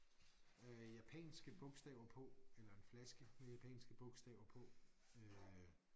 Øh japanske bogstaver på eller en flaske med japanske bogstaver på øh